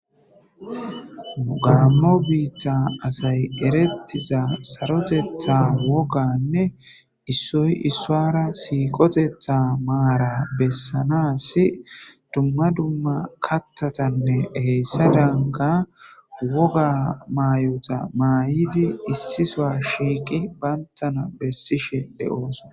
Gammo bitta asy eretiza saroteta woganne issoy isuwara siqotethth mara bessanas issi dumma dumma kaththatanne hesadankka woga mayoza mayid issi sowa shiqi bantana besishe de"osona